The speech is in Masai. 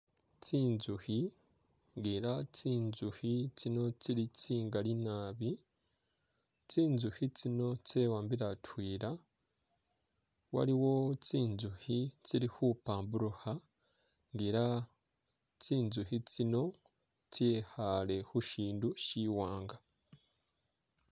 Tsinzukhi nga ela tsinzukhi tsino tsili tsingali naabi tsinzuukhi tsino tsewambile atwela, waliwo tsinzukhi tsili khupamburukha nga ela tsinzukhi tsino tsyekhaale khu shindu shiwaanga.